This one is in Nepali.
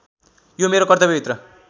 यो मेरो कर्तव्यभित्र